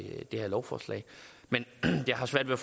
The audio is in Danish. det her lovforslag men jeg har svært ved